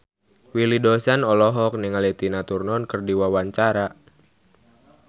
Willy Dozan olohok ningali Tina Turner keur diwawancara